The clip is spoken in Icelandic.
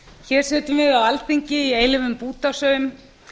hér sitjum við á alþingi í eilífum bútasaum